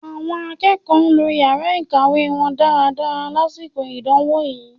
Àwọn akẹ́kọ̀ọ́ lo yàrá ìkàwé wọn dáadáa lásìkò ìdánwò yìí